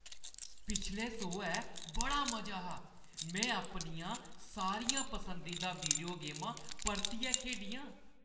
पिछले सोहै बड़ा मजा हा। में अपनियां सारियां पसंदीदा वीडियो गेमां परतियै खेढियां।